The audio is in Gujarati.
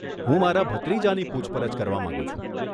હું મારા ભત્રીજાની પૂછપરછ કરવા માંગુ છું.